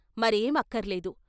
మరేం అక్కరలేదు.